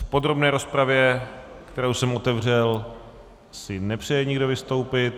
V podrobné rozpravě, kterou jsem otevřel, si nepřeje nikdo vystoupit.